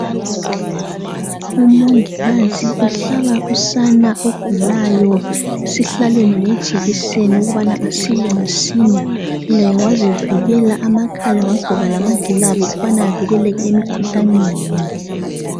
Umongikazi uhlaba usana ogulayo esihlalweni ngejekiseni ukubana asile masinya laye wazivikela amakhala wagqoka lama gilavu ukubana avikeleke emikhuhlaneni.